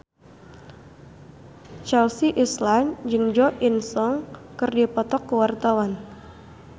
Chelsea Islan jeung Jo In Sung keur dipoto ku wartawan